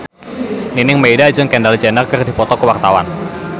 Nining Meida jeung Kendall Jenner keur dipoto ku wartawan